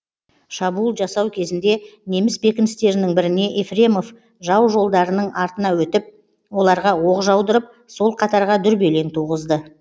шабуыл жасау кезінде неміс бекіністерінің біріне ефремов жау жолдарының артына өтіп оларға оқ жаудырып сол қатарға дүрбелең туғызды